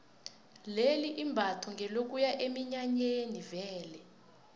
leli imbatho ngelokuya eminyanyeni vele